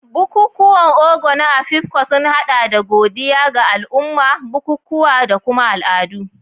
Bukukuwan Ogo na Afikpo sun hada da godiya ga al'umma, bukukuwa, da kuma al'adu.